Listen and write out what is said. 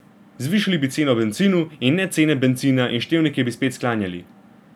Zvišali bi ceno bencinu in ne cene bencina in števnike bi spet sklanjali.